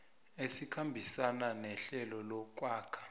esikhambisana nehlelo lokwakha